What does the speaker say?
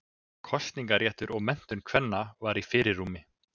Kosningaréttur og menntun kvenna var í fyrirrúmi.